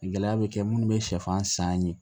Gɛlɛya bɛ kɛ minnu bɛ sɛfan san ye